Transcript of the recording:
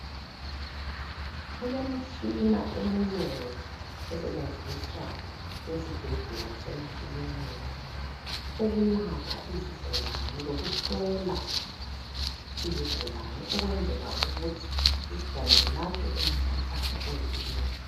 Kulemitshina eminengi esetshenziswa esibhedlela lasemakilinika ukulapha izigulane lokuhlola izigulane ukwenzela ukuthi izigulane zilatshwe umkhuhlane oyiwo.